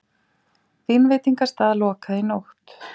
Vínveitingastað lokað í nótt